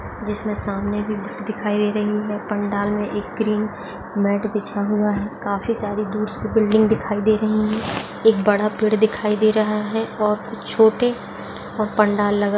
जिस मे सामने भी भीड दिखाई दे रही है पंडाल मे एक ग्रीन मैट बिछा हुआ है काफी सारी दूर से बिल्डिंग दिखाई दे रही है एक बड़ा पेड दिखाई दे रहा है और कुछ छोटे और पंडाल लगा --